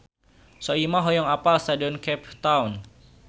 Soimah hoyong apal Stadion Cape Town